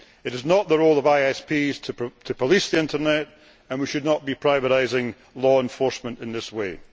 It is not the role of ISPs to police the Internet, and we should not be privatising law enforcement in this way.